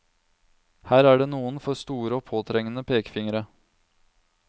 Her er det noen for store og påtrengende pekefingre.